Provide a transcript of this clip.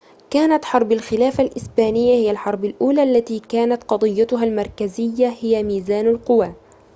كانت حرب الخلافة الإسبانية هي الحرب الأولى التي كانت قضيتها المركزية هي ميزان القوى